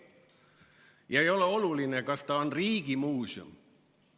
Ja ei ole oluline, kas see on riigimuuseum.